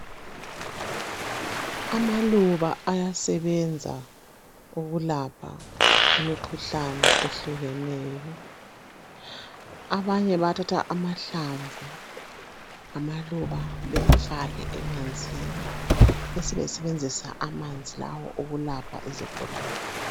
Amaluba ayasebenza ukulapha imikhuhlane ehlukeneyo, abanye bathatha amahlamvu amaluba bawafake emanzini, besebesebenzisa amanzi lawo ukulapha izigulani.